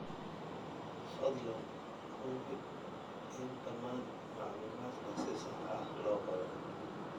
Fadlan hubi in dhammaan macluumaadka si sax ah loo qoray.